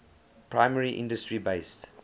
primary industry based